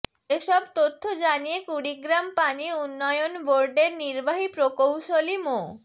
এসব তথ্য জানিয়ে কুড়িগ্রাম পানি উন্নয়ন বোর্ডের নির্বাহী প্রকৌশলী মো